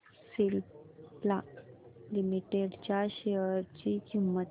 Cipla limited च्या share ची किंमत